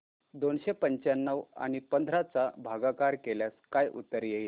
दोनशे पंच्याण्णव आणि पंधरा चा भागाकार केल्यास काय उत्तर येईल